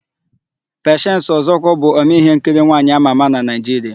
Pechensi Ọzọkwọ bụ omee íhénkiri nwaanyị ámà ámà na Naịjiria.